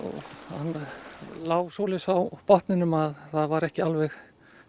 hann lá svoleiðis á botninum að það var ekki alveg